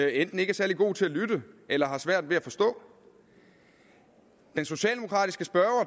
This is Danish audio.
enten ikke er særlig god til at lytte eller har svært ved at forstå den socialdemokratiske spørger